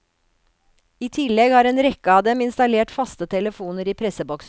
I tillegg har en rekke av dem installert faste telefoner i presseboksene.